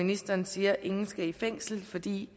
ministeren siger ingen skal i fængsel fordi